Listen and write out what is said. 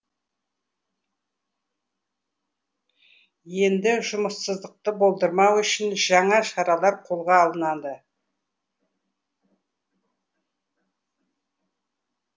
енді жұмыссыздықты болдырмау үшін жаңа шаралар қолға алынады